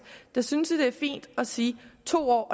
synes vi det er fint at sige to år